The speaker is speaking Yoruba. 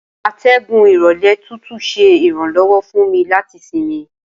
Atẹgun irọlẹ tutu ṣe iranlọwọ fun mi lati sinmi